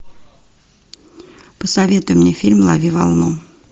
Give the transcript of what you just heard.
посоветуй мне фильм лови волну